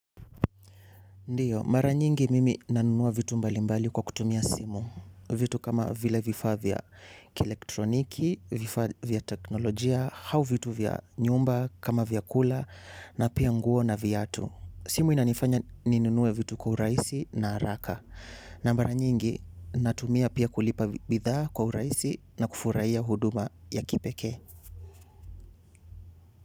Ndiyo, mara nyingi mimi nanunua vitu mbalimbali kwa kutumia simu. Vitu kama vile vifaa vya kielektroniki, vifaa vya teknolojia, au vitu vya nyumba, kama vyakula, na pia nguo na viatu. Simu inanifanya ninunue vitu kwa urahisi na haraka. Na mara nyingi natumia pia kulipa bidhaa kwa urahisi na kufurahia huduma ya kipekee.